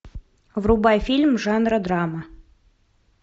врубай фильм жанра драма